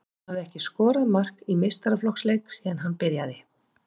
Hann hafði ekki skorað mark í meistaraflokksleik síðan hann byrjaði.